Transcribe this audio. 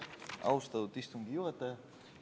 Austatud istungi juhataja!